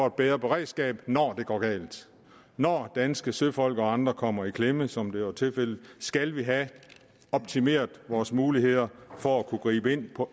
et bedre beredskab når det går galt når danske søfolk og andre kommer i klemme som været tilfældet skal vi have optimeret vores muligheder for at kunne gribe ind på